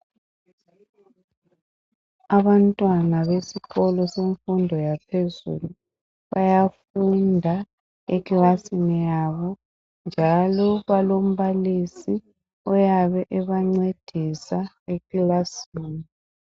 Abantwana besikolo semfundo yaphezulu bayafunda ekilasini yabo njalo balombalisi oyabe ebancedisa ekilasini.